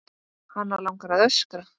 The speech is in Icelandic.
Hana langar að öskra.